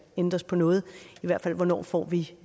ændres på noget hvornår får vi